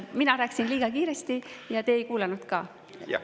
Mina rääkisin liiga kiiresti ja te ei kuulanud ka.